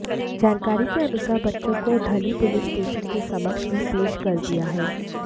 जानकारी के अनुसार बच्चों को ढली पुलिस स्टेशन के समक्ष भी पेश कर दिया है